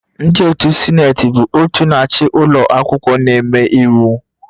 Ndị otu Sineti bụ òtù na-achị ụlọ akwụkwọ na-eme iwu